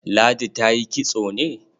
Ladi ta yi kitso ne?